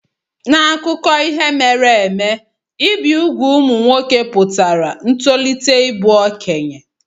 N'akụkọ ihe mere eme, ibi úgwù ụmụ nwoke pụtara ntolite ịbụ okenye.